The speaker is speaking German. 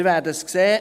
Wir werden sehen.